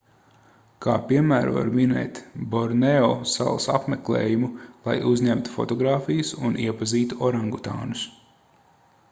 kā piemēru var minēt borneo salas apmeklējumu lai uzņemtu fotogrāfijas un iepazītu orangutānus